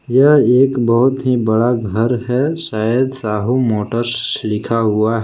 यह एक बहुत ही बड़ा घर है शायद साहू मोटर्स लिखा हुआ ह--